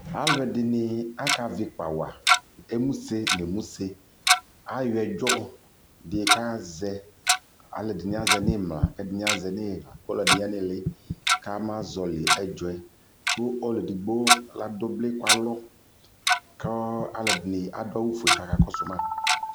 alʋɛdini aka vi ikpa wa, ɛmʋ sè nʋ ɛmʋ sè ayɔ ɛdzɔ di ka azɛ alʋɛdini azɛ nʋ imla kʋ ɛdi azɛ nʋ ina kʋ ɛdi dʋ ili kʋama zɔli ɛdzɔɛ kʋ ɛdigbɔ adʋbli kʋ alɔ kʋ alʋɛdini adʋ awʋ ƒʋɛ kʋ aka kɔsʋ ma